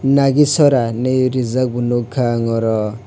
nagicherra hinui rijak bo nukha ang oro.